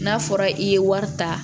N'a fɔra i ye wari ta